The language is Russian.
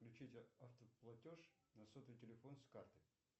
включите автоплатеж на сотовый телефон с карты